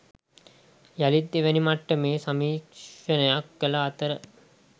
යළිත් දෙවැනි මට්ටමේ සමීක්‍ෂණයක් කළ අතර